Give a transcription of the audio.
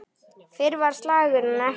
Fyrr var slagnum ekki lokið.